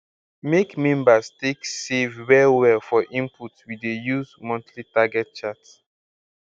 make members take save well well for input we dey use monthly target chart